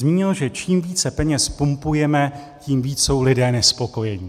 Zmínil, že čím více peněz pumpujeme, tím víc jsou lidé nespokojení.